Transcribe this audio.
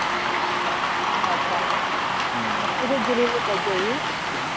अछा